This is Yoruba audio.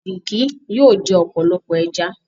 Vicky? yóò jẹ ọpọlọpọ ẹja.